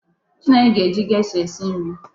Chinenye ga-eji gesha esi nri.